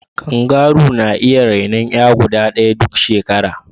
Kangaru na iya renon 'ya guda ɗaya duk shekara.